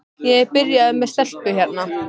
Ég er byrjaður með stelpu hérna.